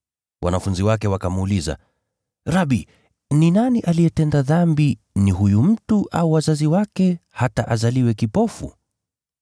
Wanafunzi wake wakamuuliza, “Rabi, ni nani aliyetenda dhambi, ni huyu mtu au wazazi wake hata azaliwe kipofu?”